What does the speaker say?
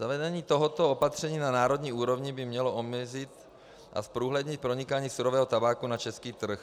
Zavedení tohoto opatření na národní úrovni by mělo omezit a zprůhlednit pronikání surového tabáku na český trh.